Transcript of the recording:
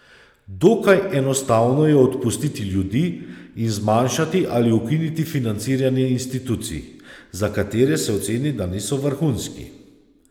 Dokaj enostavno je odpustiti ljudi in zmanjšati ali ukiniti financiranje institucij, za katere se oceni, da niso vrhunski.